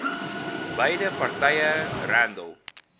beide partye randall